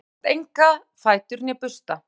þeir hafa jafnframt enga fætur né bursta